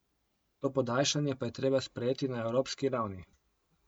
To podaljšanje pa je treba sprejeti na evropski ravni.